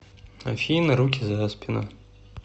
афина руки за спину